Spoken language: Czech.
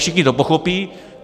Všichni to pochopí.